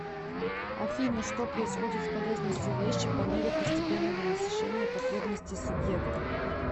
афина что происходит с полезностью вещи по мере постепенного насыщения потребностей субъекта